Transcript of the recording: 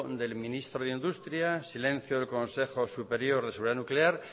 del ministro de industria silencio del consejo superior de seguridad nuclear